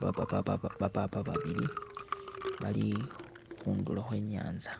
papabapapapa babili, bali khundulo khwe nyanza